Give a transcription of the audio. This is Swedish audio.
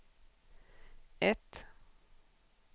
ett